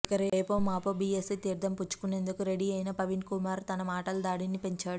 ఇక రేపో మాపో బీఎస్పీ తీర్ధం పుచ్చుకునేందుకు రెడీ అయిన ప్రవీణ్కుమార్ తన మాటల దాడిని పెంచాడు